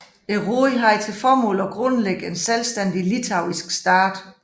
Rådet havde til formål at grundlægge en selvstændig litauisk stat